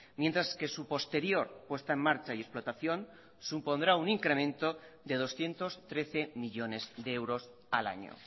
mientras que su posterior puesta en marcha y explotación supondrá un incremento de doscientos trece millónes de euros al año